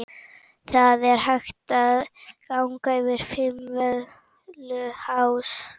Það er hægt að ganga yfir Fimmvörðuháls.